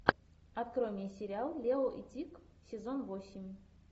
открой мне сериал лео и тиг сезон восемь